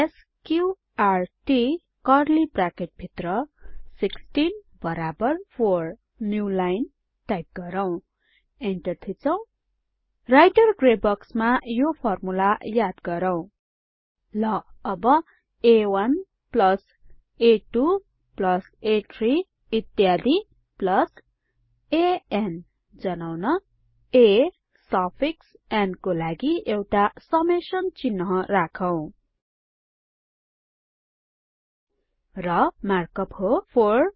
SQRT curly bracket भित्र 16 बराबर 4 new line type गरौ इन्टर थिचौं राइटर ग्रे बक्समा यो फर्मुला याद गरौ ल अब आ1 आ2 आ3 इत्यादि अन जनाउन a सफिक्स न् को लागि एउटा समेसन चिन्ह राखौं र मार्कअप हो 4